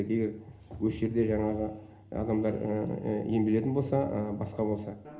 егер осы жерде жаңағы адамдар емделетін болса басқа болса